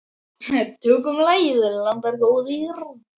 Tökum lagið, landar góðir.